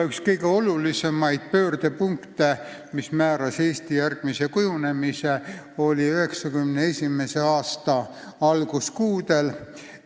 Üks kõige olulisemaid pöördepunkte, mis määras Eesti edasise kujunemise, oli 1991. aasta alguskuudel.